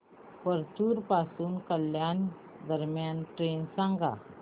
परतूर पासून कल्याण दरम्यान ट्रेन सांगा